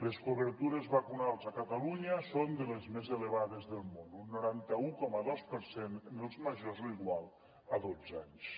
les cobertures vacunals a catalunya són de les més elevades del món un noranta un coma dos per cent en els majors o igual a dotze anys